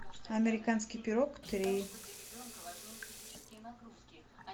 американский пирог три